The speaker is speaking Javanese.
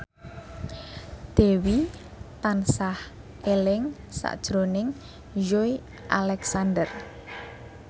Dewi tansah eling sakjroning Joey Alexander